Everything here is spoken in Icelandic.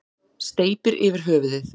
Steypir yfir höfuðið.